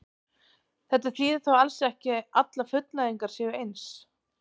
Þetta þýðir þó alls ekki að allar fullnægingar séu eins.